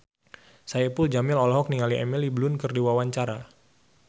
Saipul Jamil olohok ningali Emily Blunt keur diwawancara